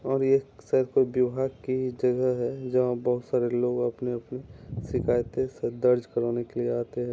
और ये सर पे ब्योहर की जगह है जहाँ बहुत सारे लोग अपने-अपने शिकायते स दर्ज करवाने के लिए आते हैं।